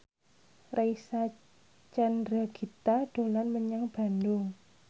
Reysa Chandragitta dolan menyang Bandung